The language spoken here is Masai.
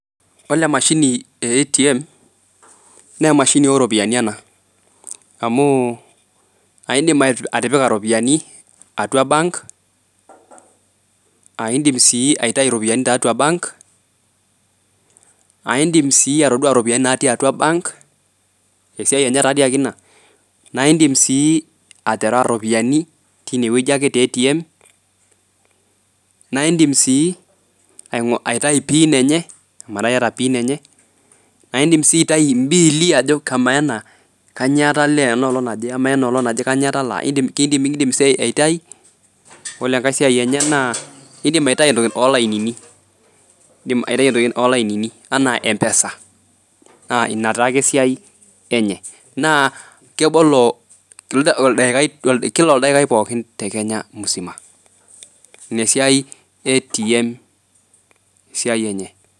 Ole emashini e ATM neemashini oropiani ena. Amuu aindim aih atipika ropiani atua bank, aaindim [aii] aitai iropiani tatua bank, aindim [aii] atoduaa ropiani natii atua  bank, esiai enye taadii ake ina. Naa indim sii aterewa rropiani tinewueji ake te  ATM, naindim sii aing'o aitai pin enye ometaa iyata pin enye, naindim sii aitai imbiili ajo kamaa ena kanyoo atalaa enaolong' naje, ama ena olong' naje kanyoo atalaa eidim keidim nikindim sii aitai. Ole engai siai enye naa eidim aitai entoki olainini. Idim aitai entoki olainini anaa empesa naa ina taake esiai enye naa kebolo oldaikai  kila oldaikai pookin te Kenya musima. Ina esiai e atm esiai enye.